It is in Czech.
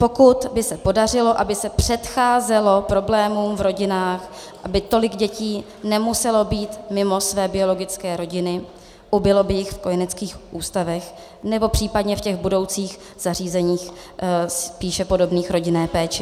Pokud by se podařilo, aby se předcházelo problémům v rodinách, aby tolik dětí nemuselo být mimo své biologické rodiny, ubylo by jich v kojeneckých ústavech, nebo případně v těch budoucích zařízeních spíše podobných rodinné péči.